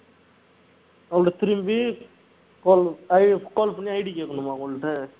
அவங்க திரும்பி call i~ call பண்ணி ID கேட்கணுமா அவங்கள்ட்ட